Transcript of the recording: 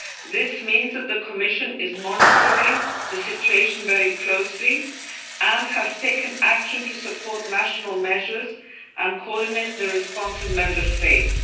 This means that the Commission is monitoring the situation very closely and has taken action to support national measures and coordinate the response of Member States.